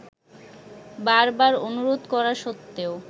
বারবার অনুরোধ করা সত্তেও